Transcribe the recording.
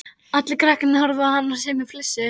Allir krakkarnir horfðu á hann og sumir flissuðu.